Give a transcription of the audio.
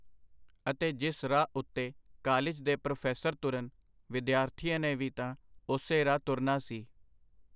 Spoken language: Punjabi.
ਅਤੇ ਜਿਸ ਰਾਹ ਉਤੇ ਕਾਲਿਜ ਦੇ ਪ੍ਰੋਫੈਸਰ ਤੁਰਨ, ਵਿਦਿਆਰਥੀਆਂ ਨੇ ਵੀ ਤਾਂ ਉਸੇ ਰਾਹ ਤੁਰਨਾ ਸੀ.